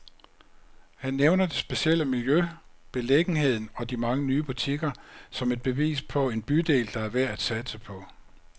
Han nævner det specielle miljø, beliggenheden og de mange nye butikker, som et bevis på en bydel, der er værd at satse på.